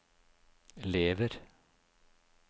lever